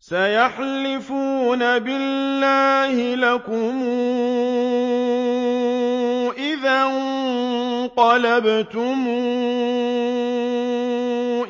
سَيَحْلِفُونَ بِاللَّهِ لَكُمْ إِذَا انقَلَبْتُمْ